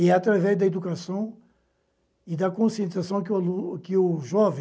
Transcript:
E é através da educação e da conscientização que o que o jovem